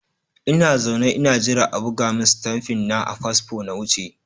Ina zaune ina jira a buga min stamfi na a fasfo na wuce.